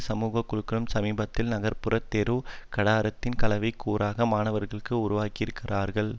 சமூக குழுக்களுடன் சமீபத்தில் நகர்புற தெரு கடாரத்தின் கலவைக் கூறாக மாணவர்களும் உருவாகி இருக்கிறார்கள்